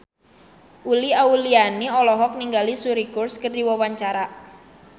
Uli Auliani olohok ningali Suri Cruise keur diwawancara